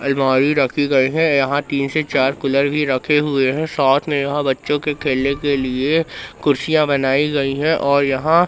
अलमारी रखी गई है। यहां तीन से चार कूलर भी रखे हुए हैं। साथ में यहां बच्चों के खेलने के लिए कुर्सियां बनाई गई है और यहां--